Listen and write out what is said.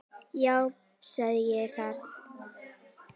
Já, sagði ég það?